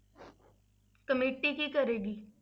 Committee ਕੀ ਕਰੇਗੀ?